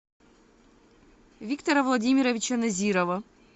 виктора владимировича назирова